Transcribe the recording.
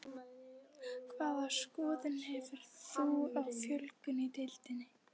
Hvaða skoðun hefur þú á fjölgun í deildinni?